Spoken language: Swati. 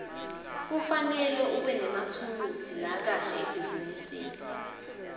kufanele ubenemathulusi lakahle ebhizinisi